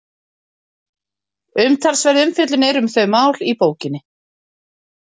Umtalsverð umfjöllun er um þau mál í bókinni.